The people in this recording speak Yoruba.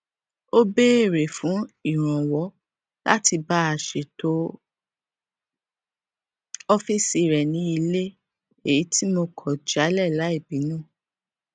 ó béèrè fún ìrànwọ láti bá a ṣètọ ófíìsì rẹ ní ilé èyí tí mo kò jálè láì bínú